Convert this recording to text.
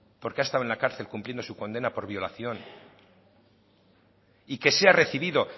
porque ha estado en la cárcel cumpliendo su condena por violación y que sea recibido